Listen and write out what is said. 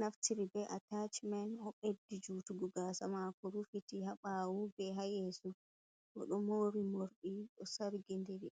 naftiri be a tachmen, o ɓeddi jutugo gasa mako rufiti ha bawu be ha yesu, o ɗo mori morɗi ɗo sargi diri.